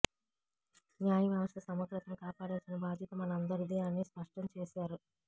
న్యాయవ్యవస్థ సమగ్రతను కాపాడాల్సిన బాధ్యత మనందరిదీ అని స్పష్టం చేశారు